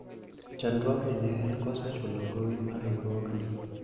chandruogi ne en koso chulo gowi mar riwruogni